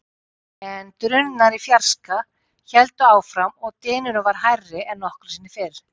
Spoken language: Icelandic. En drunurnar í fjarska héldu áfram og dynurinn var hærri en nokkru sinni fyrr.